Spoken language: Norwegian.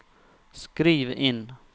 skriv inn